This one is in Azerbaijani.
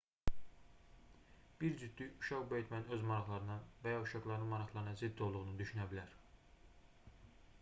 bir cütlük uşaq böyütmənin öz maraqlarına və ya uşaqlarının maraqlarına zidd olduğunu düşünə bilər